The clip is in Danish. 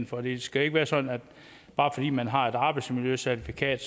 for det skal ikke være sådan at bare fordi man har et arbejdsmiljøcertifikat